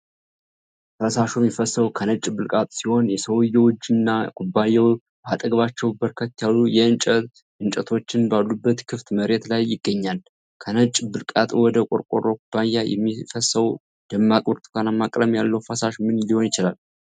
ፈሳሹ የሚፈሰው ከነጭ ብልቃጥ ሲሆን፣ የሰውየው እጅና ኩባያው በአጠገባቸው በርከት ያሉ የእንጨት እንጨቶችን ባሉበት ክፍት መሬት ላይ ይገኛል። ከነጭ ብልቃጥ ወደ ቆርቆሮ ኩባያ የሚፈሰው ደማቅ ብርቱካናማ ቀለም ያለው ፈሳሽ ምን ሊሆን ይችላል?